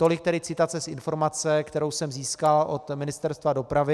Tolik tedy citace z informace, kterou jsem získal od Ministerstva dopravy.